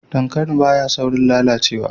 Dankali ba ya saurin lalacewa